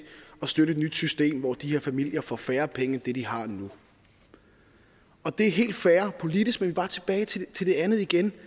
at støtte et nyt system hvor de her familier får færre penge end de har nu det er helt fair politisk men bare tilbage til det andet igen